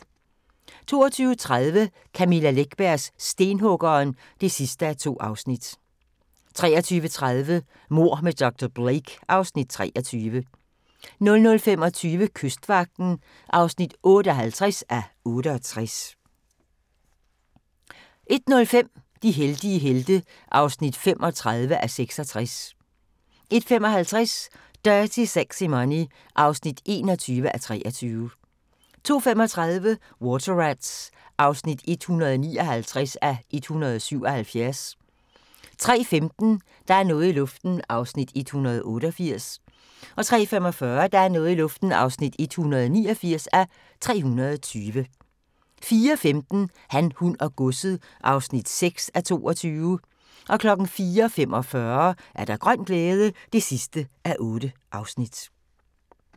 22:30: Camilla Läckbergs Stenhuggeren (2:2) 23:30: Mord med dr. Blake (Afs. 23) 00:25: Kystvagten (58:68) 01:05: De heldige helte (35:66) 01:55: Dirty Sexy Money (21:23) 02:35: Water Rats (159:177) 03:15: Der er noget i luften (188:320) 03:45: Der er noget i luften (189:320) 04:15: Han, hun og godset (6:22) 04:45: Grøn glæde (8:8)